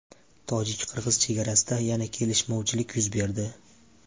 Tojik-qirg‘iz chegarasida yana kelishmovchilik yuz berdi.